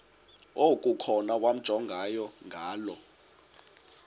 okukhona wamjongay ngaloo